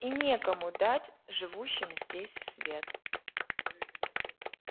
и некому дать живущим здесь свет